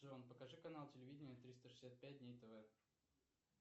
джон покажи канал телевидения триста шестьдесят пять дней тв